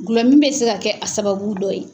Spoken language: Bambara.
Gulɔmin bɛ se ka kɛ a sababu dɔ ye.